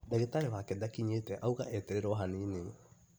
Ndagĩtarĩ wake ndakĩnyĩte auga etererwo hanini